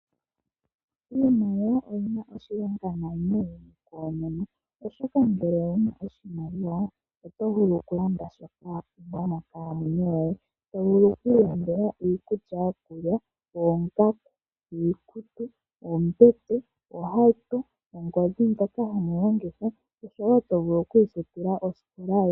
Iimaliwa oyina oshilonga noonkondo oshoka ngele owuna oshimaliwa oto vulu kulanda shoka wa pumbwa monkalamwenyo yoye to vulu okwiilandela iikulya yokulya, oongaku ,iikutu ,ohauto oongodhi dhoka hadhi landithwa oshowo to vulu okwiifutila osikola yoye.